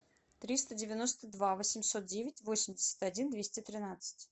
триста девяносто два восемьсот девять восемьдесят один двести тринадцать